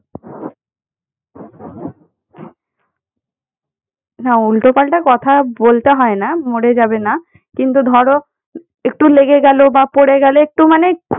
না উল্টোপাল্টা কথা বলতে হয় না মরে যাবে না। কিন্তু ধরো একটু লেগে গেল বা পড়ে গেলে মানেই খু~